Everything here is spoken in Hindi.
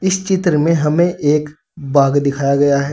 इस चित्र में हमें एक बाग दिखाया गया है।